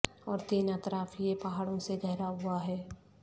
اور تین اطراف یہ پہاڑوں سے گھرا ہوا ہے